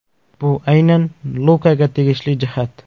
Bu aynan Lukaga tegishli jihat.